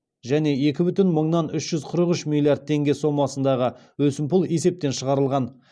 және екі бүтін мыңнан үш жүз қырық үш миллиард теңге сомасындағы өсімпұл есептен шығарылған